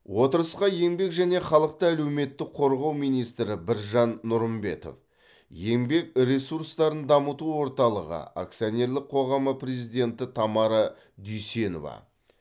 отырысқа еңбек және халықты әлеуметтік қорғау министрі біржан нұрымбетов еңбек ресурстарын дамыту орталығы акционерлік қоғамы президенті тамара дүйсенова